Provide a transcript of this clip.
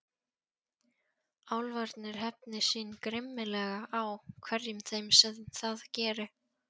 Álfarnir hefni sín grimmilega á hverjum þeim sem það geri.